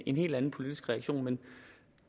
en helt anden politisk reaktion